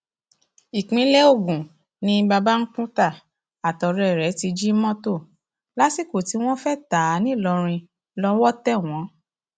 ìpínlẹ ogun ni babańkútà àtọ̀ọ́rẹ rẹ̀ ti jí mọtò lásìkò tí wọn fẹẹ ta á ńìlọrin lọwọ tẹ wọn